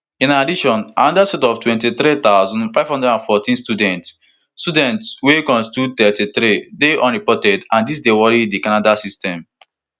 in addition anoda set of twenty-three thousand, five hundred and fourteen students students wey constitute thirty-three dey unreported and dis dey worry di canada system